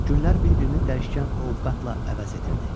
Günlər bir-birini dəyişkən ovqatla əvəz edirdi.